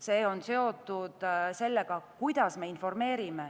See on seotud sellega, kuidas me informeerime.